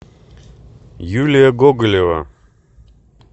юлия гоголева